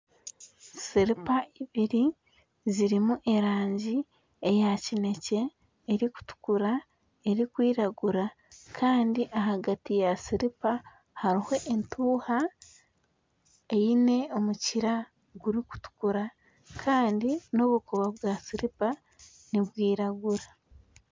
Siripa ibiri zirumu erangi eya kinekye , erukutukura, erukwiragura kandi ahagati ya siripa haruho entuha eyine omukira gurukutukura kandi nobukoba bwa siripa nibwiragura.